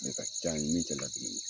Ni ka ca ni min tɛ ladiri ye.